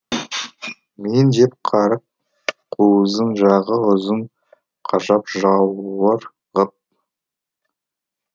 мыйын жеп қарық қуызын жағы ұзын қажап жауыр ғып